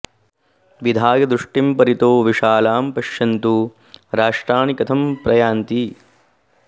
विधाय दृष्टिं परितो विशालां पश्यन्तु राष्ट्राणि कथं प्रयान्ति